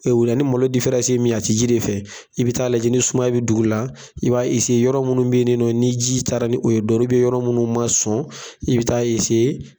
O la ni malo difɛransi ye min ye, a tɛ ji de fɛ, i bɛ t'a lajɛ ni sumaya bɛ dugu la, i b'a yɔrɔ minnu bɛ yen nɔ ni ji taara ni o ye dɔrɔnw, yɔrɔ minnu ma sɔn, i bɛ ta .